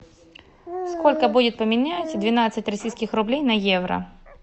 сколько будет поменять двенадцать российских рублей на евро